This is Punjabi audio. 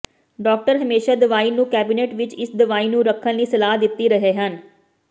ਡਾਕਟਰ ਹਮੇਸ਼ਾ ਦਵਾਈ ਨੂੰ ਕੈਬਨਿਟ ਵਿੱਚ ਇਸ ਦਵਾਈ ਨੂੰ ਰੱਖਣ ਲਈ ਸਲਾਹ ਦਿੱਤੀ ਰਹੇ ਹਨ